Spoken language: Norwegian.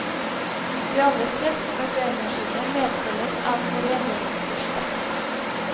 De aller fleste barbermaskiner medfølges av en rengjøringsbørste.